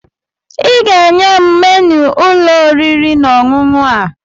Ị ga-enye m menu ụlọ oriri na ọṅụṅụ a!